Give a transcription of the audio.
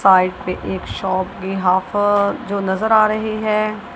Side पे एक shop भी हाफ जो नज़र आ रही है।